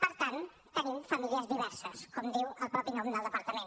per tant tenim famílies diverses com diu el mateix nom del departament